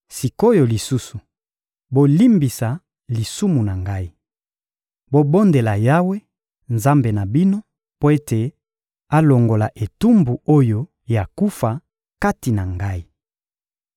Sik’oyo lisusu, bolimbisa lisumu na ngai. Bobondela Yawe, Nzambe na bino, mpo ete alongola etumbu oyo ya kufa kati na ngai.